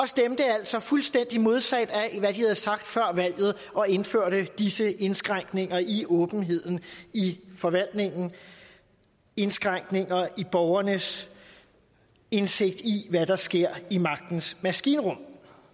stemte altså fuldstændig modsat af hvad de havde sagt før valget og indførte disse indskrænkninger i åbenheden i forvaltningen indskrænkninger i borgernes indsigt i hvad der sker i magtens maskinrum